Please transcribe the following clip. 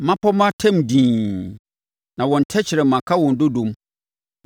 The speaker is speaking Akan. mmapɔmma tɛm dinn, na wɔn tɛkrɛma ka wɔn dodom.